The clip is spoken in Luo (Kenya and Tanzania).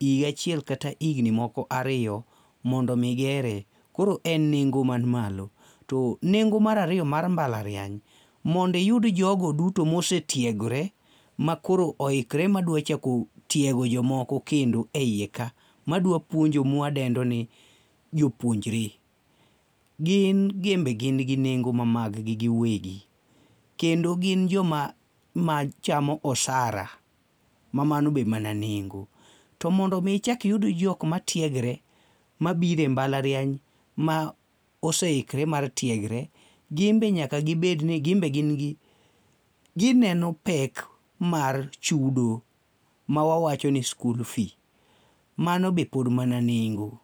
higa achiel kata higni moko ariyo mondo mi gee. Koro en nengo man malo to nengo mar ariyo mar mbalariany, mondo iyudo jogo duto ma osetiegore makoro oikore madwa chako tiego jomoko kendo eiye ka madwa puonjo ma wadendo ni jopuonjre. Gin be gin gi nengo ma mag gi giwegi kendo gin joma machamo osara ma mano be mana nengo to m,ondo mi ichak iyud jok matiegre mabiro e mbalariany ma oseikre mar tiegre, gin be nyaka gibed ni gin be gimn gi gineno pek mar chudo mawawacho ni school fee, mano be pod mana nengo.